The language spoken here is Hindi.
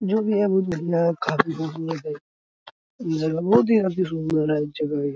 जो भी है बहुत बढ़िया है जगह ये बहुत ही अति सुंदर है जगह ये --